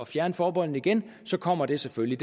fjerne forbeholdene igen kommer det selvfølgelig